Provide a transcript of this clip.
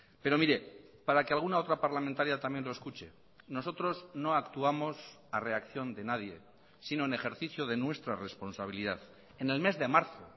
pero mire para que alguna otra parlamentaria también lo escuche nosotros no actuamos a reacción de nadie sino en ejercicio de nuestra responsabilidad en el mes de marzo